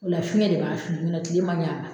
O la fiɲɛ de b'a fili n'o tɛ tile man ɲi a ma